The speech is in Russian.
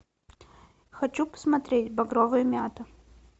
хочу посмотреть багровая мята